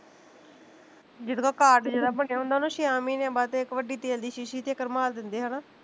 ਜੀਦੇ ਕੋਲ card ਜੇਦਾ ਬਣਿਆ ਹੁੰਦਾ ਉਹਨੂੰ ਛੇਆਂ ਮਹੀਨਿਆ ਬਾਅਦੇ ਇੱਕ ਵੱਡੀ ਤੇਲ ਦੀ ਸ਼ੀਸ਼ੀ ਤੇ ਇੱਕ ਰੁਮਾਲ ਦਿੰਦੇ ਹੈਨਾ